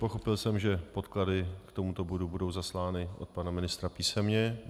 Pochopil jsem, že podklady k tomuto bodu budou zaslány od pana ministra písemně.